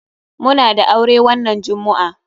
Muna da aure wannan jummu'a.